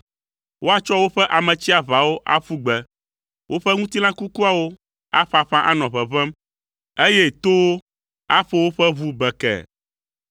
Woatsɔ woƒe Ame tsiaʋawo aƒu gbe. Woƒe ŋutilã kukuawo aƒaƒã anɔ ʋeʋẽm eye towo aƒo woƒe ʋu bekee.